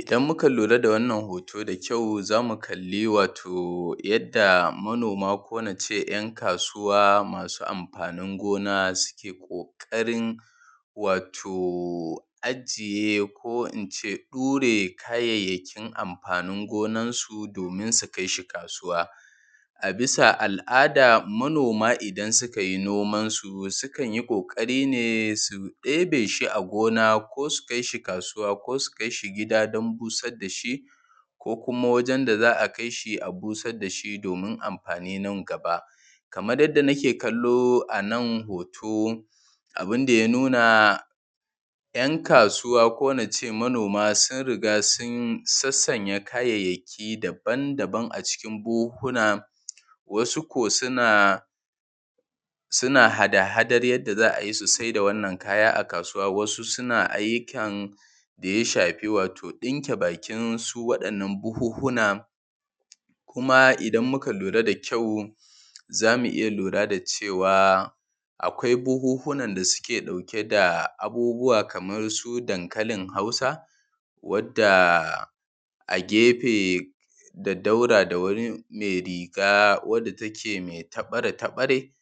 Idan muka lura da wannan hoto da kyau zamu kalli wato yadda manoma ko nace ‘yan kasuwa masu amfanin gona suke ƙoƙarin wato ajiye, ko ince dure kayayyakin amfanin gonansu domin su kai shi kasuwa. A bisa al’ada manoma idan suka yi nomansu sukan yi ƙoƙari ne su ɗebe shi a gona, ko su kai shi kasuwa, ko su kai shi gida don busar dashi, ko kuma wajen da za a kai shi a busar dashi domin amfani nan gaba. Kamar yadda make kallo anan hoto abunda ya nuna, ‘yan kasuwa ko nace manoma sun riƙa sun sassanya kayayyaki dabam-dabam a cikin buhuhuna, wasu ko suna, suna hada hadar yadda za a yi sai da wannan kaya a kasuwa, wasu suna ayyukan daya shafi wato ɗinke bakin su wa’innan buhuhuna, kuma idan muka lura da kyau zamu iya lura da cewa akwai buhuhunan da suke ɗauke da abubuwa kamar su dankalin Hausa, wadda a gefe da daura da wurin mai riga wadda take mai tabare-tabare,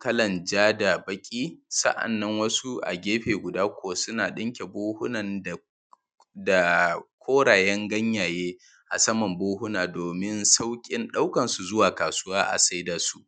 kalan ja da baƙi, sa’annan wasu a gefe guda kuwa suna ɗinke buhuhunan da, da korayen ganyayye a saman buhuhuna domin sauƙin ɗaukansu zuwa kasuwa a saida su.